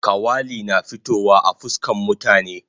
Kawali na fitowa a fuskan mutane